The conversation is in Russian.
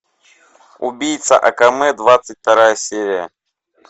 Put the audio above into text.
убийца акаме двадцать вторая серия